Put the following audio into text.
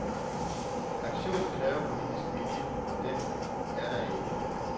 Aktionen kræver politisk vilje, og den er der ikke.